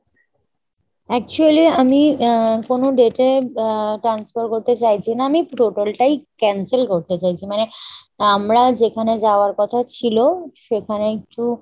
actually আমি uh কোনো date এ আহ transfer করতে চাইছি না, আমি total টাই cancel করতে চাইছি। মানে আমরা যেখানে যাওয়ার কথা ছিল সেখানে একটু